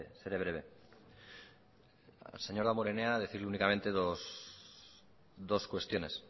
seré breve al señor damborenea decirle únicamente dos cuestiones